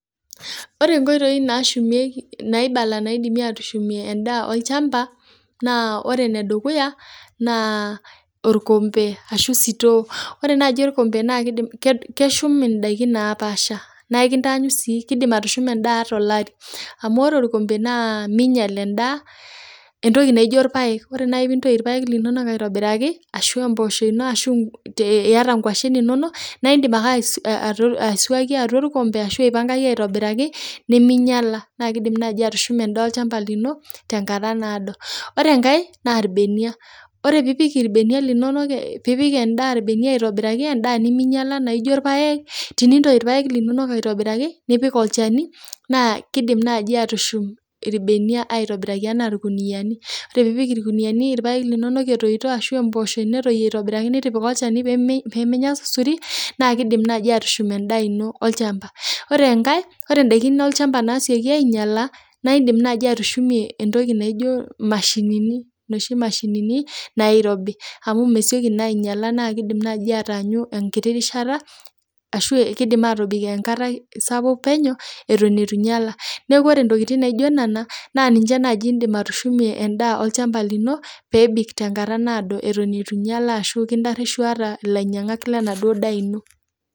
Ore nkoitoi naashumieki, naibala naidim aatushumie endaa olchamba naa ore nedukuya, naa orkombe ashu esutoo, ore naaji orkombe naa keidim, keshum indaiki napaasha naa ekintaanyu sii, keidim atushuma indaa lapa anaa larin, amu ore orkombe naa meinyal endaa entoki naijo irpaek, ore naaji piintoi orpaek linonok aitobiraki ashu emposho ino ashu te ieta engoshen inono, naa indim ake aisuaki atua ilkombe ashu impangaki aitobiraki nemeinyala, naa keidim naaji atushuma endaa olchamba lino tenkata naodo, ore enkae naa irbenia, ore piipik irbenia linono, piipik endaa irbenia aitobiraki endaa nemeinyala naijo irpaek, teniintoi irpaek linonok aitobiraki nipik olcheni naa keidim naaji aaatushum irbenia aitobiraki anaa ilkuniyani, pre piipik irkuniyani irpaek linono etoito ashu emposho niintoi aitobiraki nitipika ilchani peemenya surisuri naa keidim naaji aatushum endaa ino olchamba. Ore enkae, ore indaki olchamba naisioki ainyala naa indim naaji atushumie entoki naijo imashinini noshi imashinini nairobi amu mesioki naa ainyala naa keidim naaji ataanyu enkiti rishata ashu ekeidim aatobiki enkatai sapuk peneu eton eitu einyala ñ,neaku ore ntokitin naijo nena naa ninche naaji indim atushumie endaa olchamba lino peebik te enkata naodo, eton eitu einyala ashu nkaitaisho eata lainyangak le enaduo indaa ino.